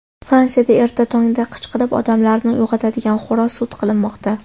Fransiyada erta tongda qichqirib, odamlarni uyg‘otadigan xo‘roz sud qilinmoqda.